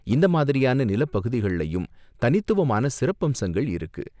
இந்த மாதிரியான நிலப்பகுதிகள்லயும் தனித்துவமான சிறப்பம்சங்கள் இருக்கு.